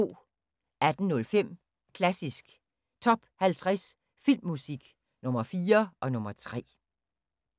18:05: Klassisk Top 50 Filmmusik – Nr. 4 og nr. 3